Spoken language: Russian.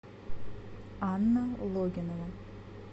анна логинова